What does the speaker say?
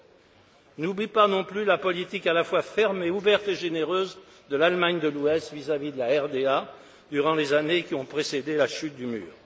Je n'oublie pas non plus la politique à la fois ferme, ouverte et généreuse de l'Allemagne de l'Ouest vis à vis de la RDA durant les années qui ont précédé la chute du mur.